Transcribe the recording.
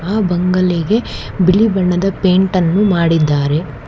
ಆ ಬಂಗಲೆಗೆ ಬಿಳಿ ಬಣ್ಣದ ಪೇಂಟ್ ಅನ್ನು ಮಾಡಿದ್ದಾರೆ.